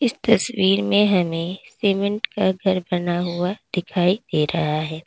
तस्वीर में हमें सीमेंट का घर बना हुआ दिखाई दे रहा है।